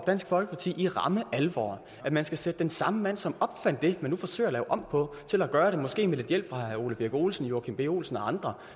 dansk folkeparti i ramme alvor at man skal sætte den samme mand som opfandt det man nu forsøger at lave om på til at gøre det måske med lidt hjælp fra herre ole birk olesen og joachim b olsen og andre